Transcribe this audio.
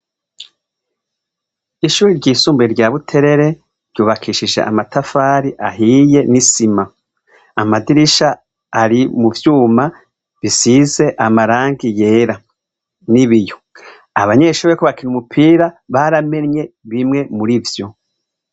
Ishure ry'isumbuye rya Buterere ryubakishijwe amatafari ahiye n'isima, amadirisha ari mu vyuma bisize amarangi yera n'ibiyo, abanyeshure bariko bakina umupira baramenye bimwe murivyo.